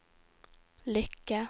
lykke